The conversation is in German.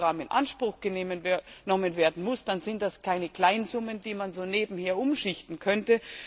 Wenn das Programm in Anspruch genommen werden muss, dann sind das keine Kleinsummen, die man so nebenher umschichten könnte.